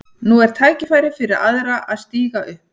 Nú er tækifærið fyrir aðra að stíga upp.